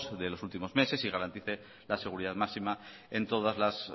de los últimos meses y garantice la seguridad máxima en todas las